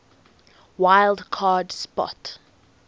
wild card spot